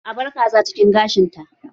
A bar Kaza cikin gashin ta